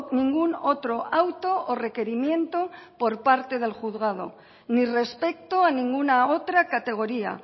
ningún otro auto o requerimiento por parte del juzgado ni respecto a ninguna otra categoría